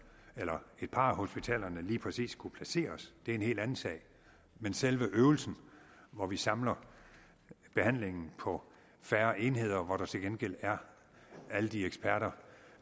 eller et par af hospitalerne lige præcis skulle placeres er en helt anden sag men selve øvelsen hvor vi samler behandlingen på færre enheder men hvor der til gengæld er alle de eksperter